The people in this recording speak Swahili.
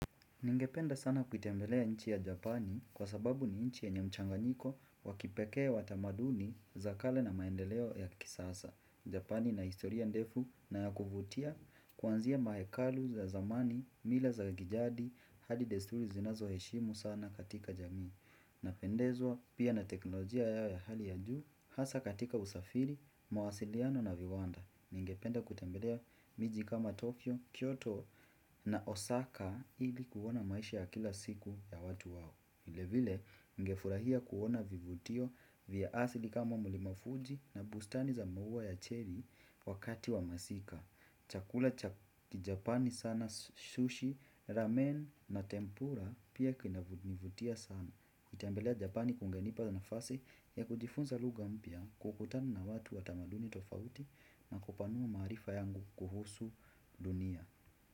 Ningependa sana kutembelea nchi ya Japani kwa sababu ni nchi yenye mchanga nyiko wakipekee watamaduni za kale na maendeleo ya kisasa. Japani ina historia ndefu na ya kufutia kuanzia mahekalu za zamani, mila za kijadi, hadi desturi zinazo heshimu sana katika jamii. Napendezwa pia na teknolojia yao ya hali ya juu hasa katika usafiri, mwasiliano na viwanda. Ningependa kutembelea miji kama Tokyo, Kyoto na Osaka hili kuona maisha ya kila siku ya watu wawo vile vile ningefurahia kuona vivutio vya asili kama mulimafuji na bustani za mwua ya cherry wakati wa masika. Chakula cha kijapani sana sushi, ramen na tempura pia kinavutia sana. Itambelea Japani kungenipa na fasi ya kutifunza lugha mpya kukutana na watu watamaduni tofauti na kupanua maarifa yangu kuhusu dunia.